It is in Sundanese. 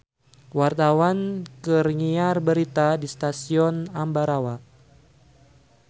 Wartawan keur nyiar berita di Stasiun Ambarawa